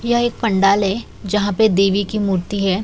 यह एक पंडाल है जहां पे देवी की मूर्ति है।